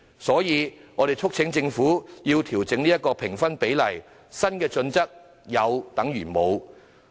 所以，我們促請政府調整評分比例，因為現行的新準則有等於無。